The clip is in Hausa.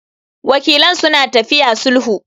Wakilan suna tafiya sulhun.